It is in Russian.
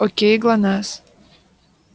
окей глонассс